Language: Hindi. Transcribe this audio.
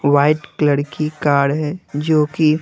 वाइट क्लर की कार है जो कि--